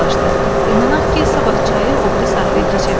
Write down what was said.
İnanaq ki, sabah çayı o biri sahilə keçə bilərik.